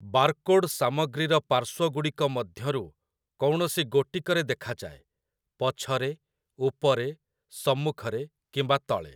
Barcode ସାମଗ୍ରୀର ପାର୍ଶ୍ୱଗୁଡ଼ିକ ମଧ୍ୟରୁ କୌଣସି ଗୋଟିକରେ ଦେଖାଯାଏ - ପଛରେ, ଉପରେ, ସମ୍ମୁଖରେ କିମ୍ବା ତଳେ ।